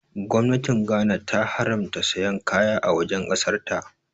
Gwamnatin Ghana ta haramta sayan kaya a wajen ƙasar ta